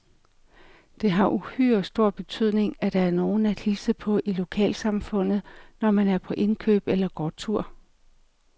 Det har uhyre stor betydning, at der er nogen at hilse på i lokalsamfundet, når man er på indkøb eller går tur.